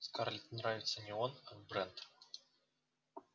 скарлетт нравится не он а брент